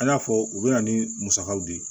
An y'a fɔ u bɛ na ni musakaw de ye